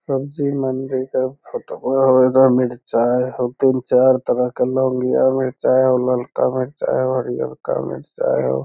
मंदिर का फोटो ओय होए होय मिर्चाये और तीन चार तरह का लोग लिआ मिर्चाये और लड़का मिल जाए और लड़का मिल जाये हो ।